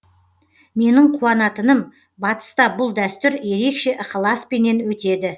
менің қуанатыным батыста бұл дәстүр ерекше ықыласпенен өтеді